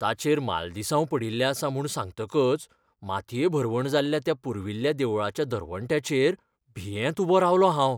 ताचेर मालदिसांव पडिल्लें आसा म्हूण सांगतकच मातये भरवण जाल्ल्या त्या पुर्विल्ल्या देवळाच्या दरवंट्याचेर भियेत उबो रावलों हांव.